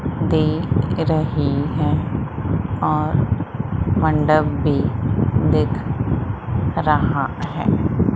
दे रही हैं और मंडप भी दिख रहा है।